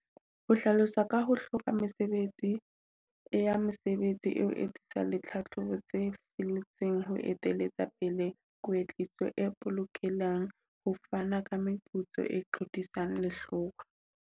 Ho hlalosa ka ho hloka mesebetsi ya mesebetsi e o le tlhahlobo tse felletseng ho eteletsa pele kwetliso e polokelang ho fana ka meputso, e qhotisana lehlokwa.